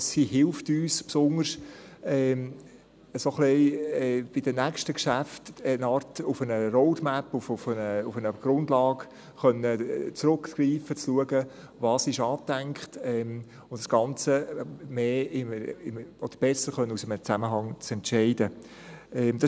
Sie hilft uns, besonders bei den nächsten Geschäften ein wenig auf eine Art Roadmap, auf eine Grundlage zurückgreifen zu können, zu schauen, was angedacht ist und das Ganze besser aus einem Zusammenhang heraus entscheiden zu können.